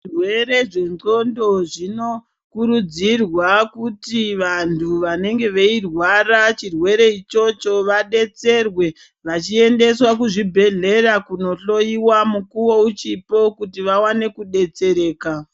Zvirwere zvendxondo zvinokurudzirwa kuti vantu vanenge veirwara chirwere ichocho vadetserwe. Vachiendeswa kuchibhedhlera kunohloyiwa mukuwo uchipo kuti vawane kudetsereka.